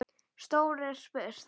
Stórt er spurt.